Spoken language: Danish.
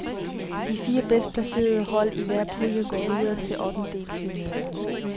De fire bedst placerede hold i hver pulje går videre til ottendedelsfinalerne.